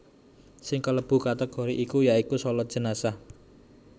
Sing klebu kategori iki ya iku shalat jenazah